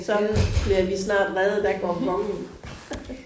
Så bliver vi snart reddet af gongongen